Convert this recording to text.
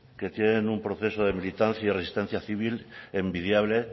que tienen un proceso de militancia resistencia civil envidiable